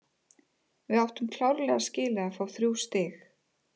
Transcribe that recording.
Við áttum klárlega skilið að fá þrjú stig.